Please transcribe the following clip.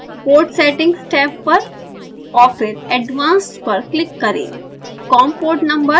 port settings tab पर और फिर advanced पर क्लिक करें